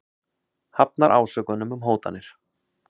Hafnar ásökunum um hótanir